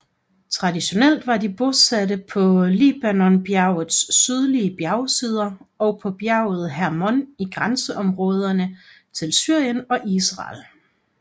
Traditionelt var de bosatte på Libanonbjergets sydlige bjergsider og på bjerget Hermon i grænseområderne til Syrien og Israel